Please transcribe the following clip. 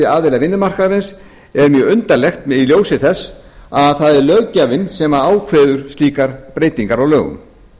aðila vinnumarkaðarins er mjög undarlegt í ljósi þess að það er löggjafinn sem ákveður slíkar breytingar á lögum